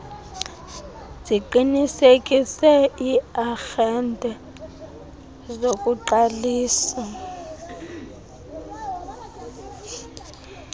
ziqinisekise iiarhente zokuqalisa